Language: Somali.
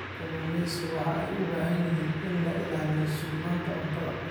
Kalluumaysigu waxa ay u baahan yihiin in la ilaaliyo sugnaanta cuntada.